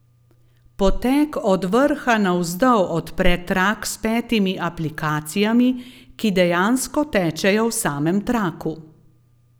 Poteg od vrha navzdol odpre trak s petimi aplikacijami, ki dejansko tečejo v samem traku.